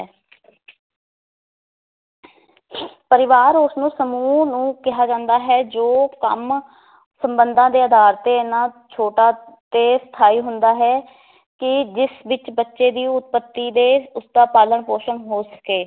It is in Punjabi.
ਪਰਿਵਾਰ ਉਸਨੂੰ ਸਮੂਹ ਨੂੰ ਕਿਹਾ ਜਾਂਦਾ ਹੈ ਜੋ ਕੰਮ ਸੰਬੰਧਾਂ ਦੇ ਅਧਾਰ ਤੇ ਇਹਨਾਂ ਛੋਟਾ ਤੇ ਸਥਾਈ ਹੁੰਦਾ ਹੈ ਕਿ ਜਿਸ ਵਿਚ ਬੱਚੇ ਦੀ ਉਤਪੱਤੀ ਤੇ ਉਸ ਦਾ ਪਾਲਣ ਪੋਸ਼ਣ ਹੋ ਸਕੇ